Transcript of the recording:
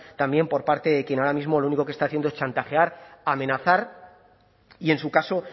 también por parte de quien ahora mismo lo único que está haciendo es chantajear amenazar y en su caso